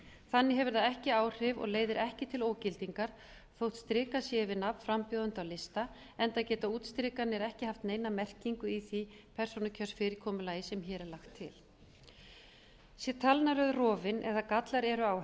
þannig hefur það ekki áhrif og leiðir ekki til ógildingar þó strikað sé yfir nafn frambjóðenda á lista enda geta útstrikanir ekki haft neina merkingu í því persónukjörsfyrirkomulagi sem hér er lagt til sé talnaröð rofin eða gallar eru á